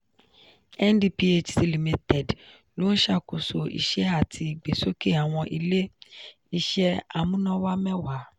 ndphc limited ló ń ṣàkóso iṣẹ́ àti ìgbésókè awọn ilé-iṣẹ́ amúnáwá mẹ́wàá.